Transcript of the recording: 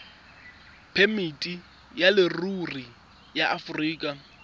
phemiti ya leruri ya aforika